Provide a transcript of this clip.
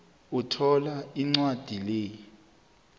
uthola incwadi le